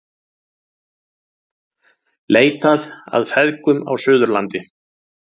Leitað að feðgum á Suðurlandi